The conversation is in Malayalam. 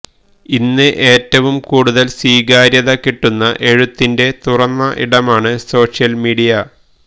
ഇന്ന് ഏറ്റവും കൂടുതൽ സ്വീകാര്യത കിട്ടുന്ന എഴുത്തിന്റെ തുറന്ന ഇടമാണ് സോഷ്യൽ മീഡിയ